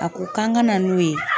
A ko k'an kana n'o ye.